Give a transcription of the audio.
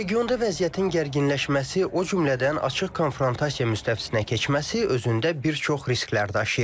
Regionda vəziyyətin gərginləşməsi, o cümlədən açıq konfrontasiya müstəvisinə keçməsi özündə bir çox risklər daşıyır.